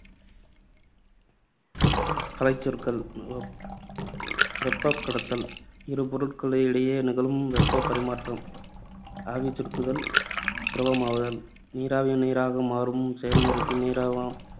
கலைச்சொற்கள் வெப்~ வெப்பக்கடத்தல் இரு பொருட்களுக்கு இடையே நிகழும் வெப்பப் பரிமாற்றம். ஆவிசுருங்குதல் திரவமாதல் நீராவி நீராக மாறும் செயல்முறைக்கு